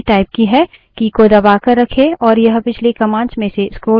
की को दबाकर रखें और यह पिछली commands में से स्क्रोल करता रहेगा